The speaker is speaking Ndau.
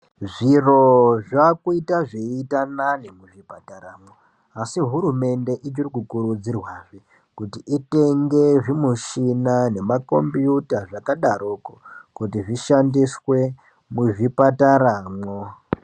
Zviro zvakuita zveiita nani muzvipataramwo asi hurumende ichiri kukurudzirwazve kuti itenge Zvimushina nemakombiyuta zvakadarokwo kuti zvishamdiswe muzvipataramwo.